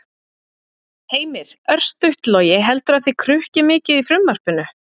Heimir: Örstutt Logi, heldurðu að þið krukkið mikið frumvarpinu?